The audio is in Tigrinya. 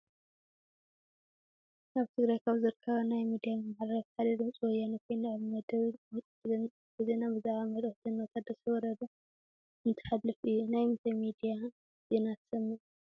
ኣብ ትግራይ ካብ ዝርከባ ናይ ሚድያ መመሓላለፍቲ ሓደ ድምፂ ወያነ ኾይኑ ኣብ መደብ ቋንቋ ትግርኛ ኣርስተ ዜና ብዛዕባ መልእኽቲ ጀ/ታደሰ ወረደ እንትሓልፍ እዩ፡፡ ናይ ምንታይ ሚድያ ዜና ትሰምዕ?